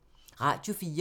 Radio 4